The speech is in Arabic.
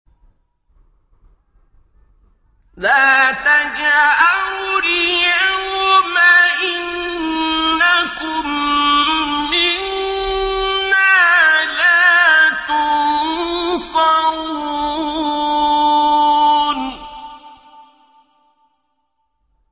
لَا تَجْأَرُوا الْيَوْمَ ۖ إِنَّكُم مِّنَّا لَا تُنصَرُونَ